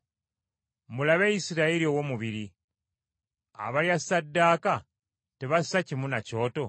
Mulabe Isirayiri ow’omubiri, abalya ssaddaaka tebassa kimu na Kyoto?